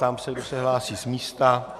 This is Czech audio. Ptám se, kdo se hlásí z místa.